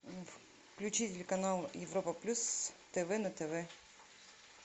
включи телеканал европа плюс тв на тв